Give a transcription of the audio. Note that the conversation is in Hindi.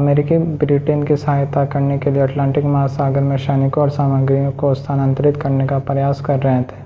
अमेरिकी ब्रिटेन की सहायता करने के लिए अटलांटिक महासागर में सैनिकों और सामग्रियों को स्थानांतरित करने का प्रयास कर रहे थे